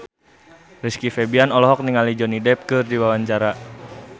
Rizky Febian olohok ningali Johnny Depp keur diwawancara